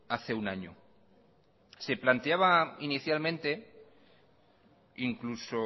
hace un año se planteaba inicialmente incluso